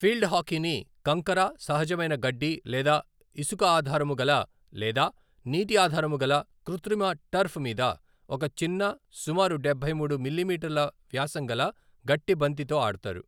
Field హాకీని కంకర, సహజమైన గడ్డి లేదా ఇసుక ఆధారము గల లేదా నీటి ఆధారము గల కృత్రిమ టర్ఫ్ మీద ఒక చిన్న, సుమారు డబ్బై మూడు మిల్లీమీటర్ల వ్యాసం గల గట్టి బంతితో ఆడతారు.